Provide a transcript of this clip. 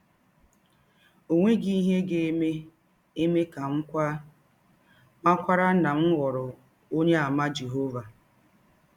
Ọ nweghị ihe ga - eme eme ka m kwaa mmakwaara na m ghọrọ Ọnyeàmà Jehọva.